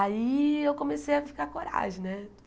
Aí eu comecei a ficar coragem, né?